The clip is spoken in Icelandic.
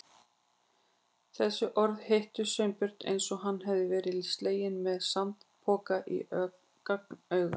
Þessi orð hittu Sveinbjörn eins og hann hefði verið sleginn með sandpoka í gagnaugað.